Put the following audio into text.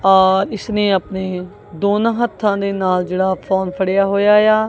ਅ ਇਸਨੇ ਆਪਣੇ ਦੋਨਾਂ ਹੱਥਾਂ ਦੇ ਨਾਲ ਜਿਹੜਾ ਫੋਨ ਫੜਿਆ ਹੋਇਆ ਆ।